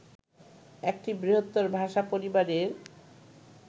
একটি বৃহত্তর ভাষা পরিবারের